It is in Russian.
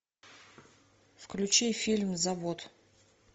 включи фильм завод